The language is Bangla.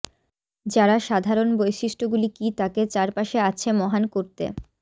যারা সাধারণ বৈশিষ্ট্যগুলি কি তাকে চারপাশে আছে মহান করতে